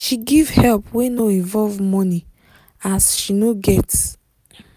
she give help wey no involve money as she no get